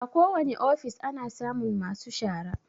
A ko wani ofis ana samun masu shara